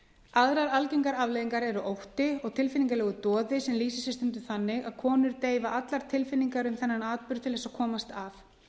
aðrar algengar afleiðingar eru ótti og tilfinningalegur doði sem lýsir sér stundum þannig að konur deyfa allar tilfinningar um þennan atburð til þess að komast af